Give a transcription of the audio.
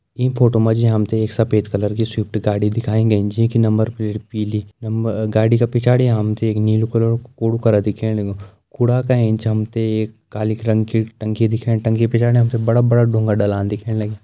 ईं फोटो मा जी हम ते एक सफ़ेद कलर की स्विफ्ट गाड़ी दिखाई गयीं जीं की नंबर प्लेट पीली नंबर - गाड़ी का पिछाड़ी हम ते एक नीलू कलर कु कुड़ु करा दिखेण लग्युं कुड़ा का एंच हम ते एक काली रंग की टंकी दिखेणी टंकी पिछाड़ी हम ते बड़ा बड़ा डुंगा डाला दिखेण लग्यां।